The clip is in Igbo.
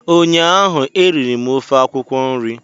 ụnyaahụ eriri m ofe akwụkwọ nri